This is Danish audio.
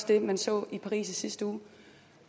det man så i paris i sidste uge